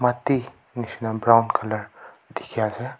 Mati neshna brown colour dekhi ase.